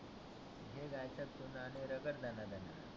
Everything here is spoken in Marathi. घे गायछाप चुना आणि रगड दणा दणा